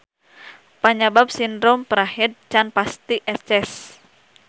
Panyabab sindrom prahed can pati eces.